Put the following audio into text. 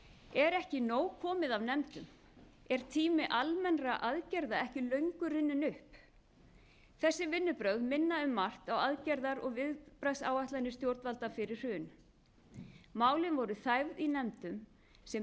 er ekki nóg komið af nefndum er tími almennra aðgerða ekki löngu runninn upp þessi vinnubrögð minna um margt á aðgerða og viðbragðsáætlanir stjórnvalda fyrir hrun málin voru þæfð í nefndum sem